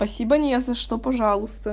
спасибо не за что пожалуйста